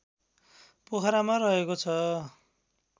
पोखरामा रहेको छ